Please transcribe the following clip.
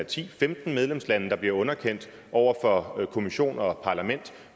til femten medlemslande der bliver underkendt over for kommission og parlament